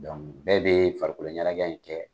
bɛɛ bee farikolo ɲanajɛ in kɛ